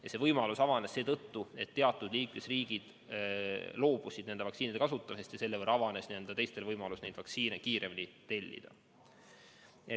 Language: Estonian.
Ja see võimalus avanes seetõttu, et teatud liikmesriigid loobusid nende vaktsiinide kasutamisest ja tänu sellele avanes teistel võimalus neid vaktsiine kiiremini tellida.